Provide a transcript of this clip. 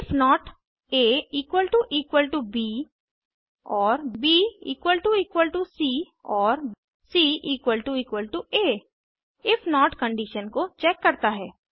if not aब और bसी और cआ इफ नोट कंडिशन को चेक करता है